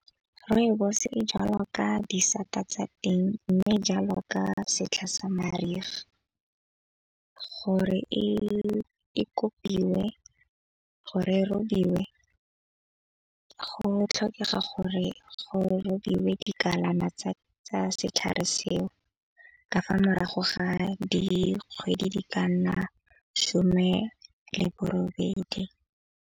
Rooibos e jalwa ka disata tsa teng mme jalo ka setlha sa mariga. Gore e kopiwe gore e robiwe go tlhokega gore go robiwe dikalana tsa setlhare seo. Ka fa morago ga dikgwedi di ka nna šome le bo robedi.